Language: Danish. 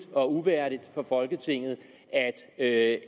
og uværdigt for folketinget at